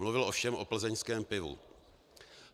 Mluvil ovšem o plzeňském pivu.